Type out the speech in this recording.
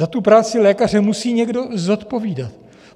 Za tu práci lékaře musí někdo zodpovídat.